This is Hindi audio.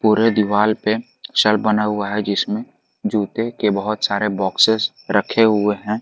पूरे दीवाल पे पिक्चर बना हुआ है जिसमें जूते के बहोत सारे बॉक्सेस रखे हुए हैं।